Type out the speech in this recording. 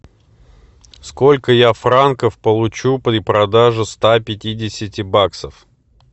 сколько я франков получу при продаже ста пятидесяти баксов